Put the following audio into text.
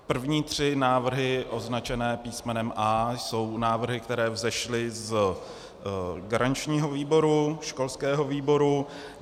První tři návrhy označené písmenem A, jsou návrhy, které vzešly z garančního výboru, školského výboru.